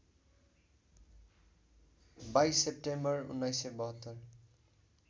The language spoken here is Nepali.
२२ सेप्टेम्बर १९७२